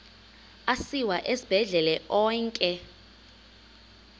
asiwa esibhedlele onke